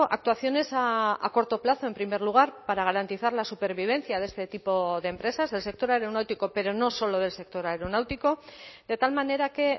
actuaciones a corto plazo en primer lugar para garantizar la supervivencia de este tipo de empresas del sector aeronáutico pero no solo del sector aeronáutico de tal manera que